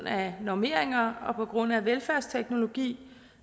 af normeringer og på grund af velfærdsteknologi